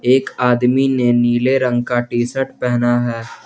एक आदमी ने नीले रंग का टी शर्ट पहना है।